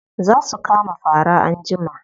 Za su kama fara anjima.